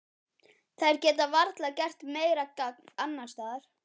Þær geta varla gert meira gagn annars staðar.